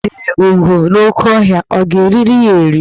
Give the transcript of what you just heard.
O jidere ugo n'oke ọhịa, a ga erili ya eri?